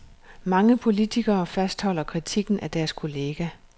Mange politikere fastholder kritikken af deres kollega.